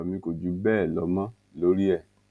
ọrọ mi kò jù bẹẹ lọ mọ lórí ẹ